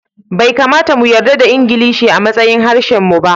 Bai kamata mu yarda da Ingilishi a matsayin harshen mu ba